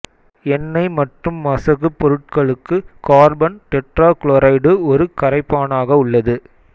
எண்ணெய் மற்றும் மசகுப் பொருட்களுக்கு கார்பன் டெட்ரா குளோரைடு ஒரு கரைப்பானாக உள்ளது